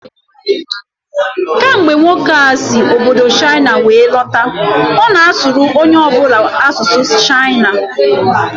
Kemgbe nwoke a si obodo Chaịna were lọta, ọ na asụrụ onye ọ bụla asụsụ Chaịna